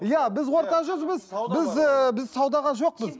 иә біз орта жүзбіз ыыы біз саудаға жоқпыз